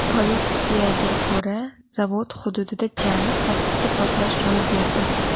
Politsiyaga ko‘ra, zavod hududida jami sakkizta portlash ro‘y berdi.